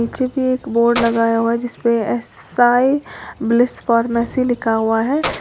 नीचे भी एक बोर्ड लगाया गया है। जिस पर साइ ब्लेस फार्मेसी लिखा हुआ है।